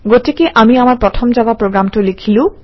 গতিকে আমি আমাৰ প্ৰথম জাভা প্ৰগ্ৰামটো লিখিলো